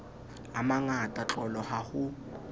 a mangata tlolo ha ho